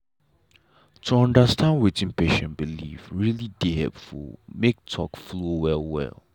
to understand wetin patient believe really dey help make talk flow well well.